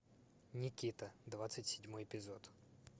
никита двадцать седьмой эпизод